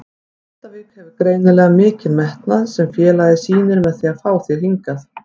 Grindavík hefur greinilega mikinn metnað sem félagið sýnir með því að fá þig hingað?